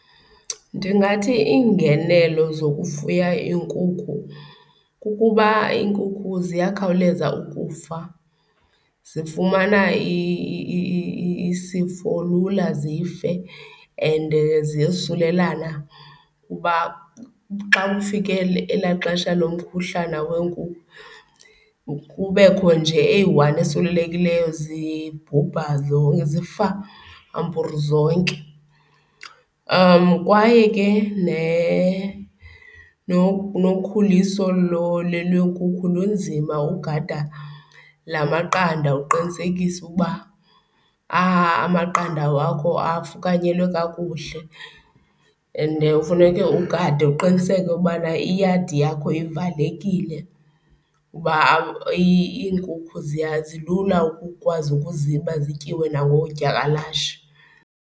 Ndingathi iingenelo zokufuya iinkukhu kukuba iinkukhu ziyakhawuleza ukufa, zifumana isifo lula zife and ziyosulelana kuba xa kufike elaa xesha lomkhuhlana weenkukhu kubekho nje eyi-one eswelekileyo zibhubha , zifa amper zonke. Kwaye ke nokhuliso lweenkukhu lunzima, ugada laa maqanda uqinisekise ukuba amaqanda wakho afukanyelwe kakuhle. Ende ufuneke ugade, uqiniseke ukubana iyadi yakho ivalekile uba iinkukhu zilula ukukwazi ukuziba zityiwe nangoodyakalashe.